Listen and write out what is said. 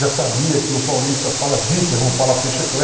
Já sabia que o paulista fala zíper, não fala fecheclé.